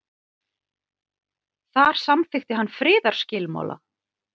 þar samþykkti hann friðarskilmála